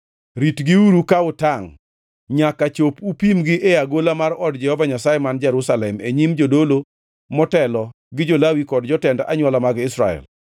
Ritgiuru ka utangʼ nyaka chop upimgi e agola mar od Jehova Nyasaye man Jerusalem e nyim jodolo motelo gi jo-Lawi kod jotend anywola mag Israel.”